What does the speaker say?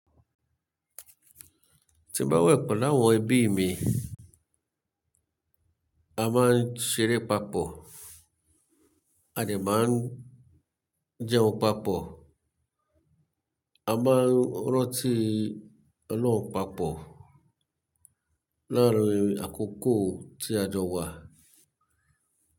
Ti n ba we pa lawon ebi mi, a maa n seré papò, a de maa n jeun papò, a maa n ranti o'loun papò laarin àkókò ti ajo wa.